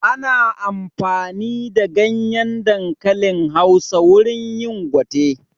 Ana amfani da ganyen dankalin Hausa wurin yin gwate